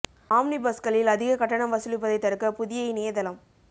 omni பஸ்களில் அதிக கட்டணம் வசூலிப்பதை தடுக்க புதிய இணைய தளம்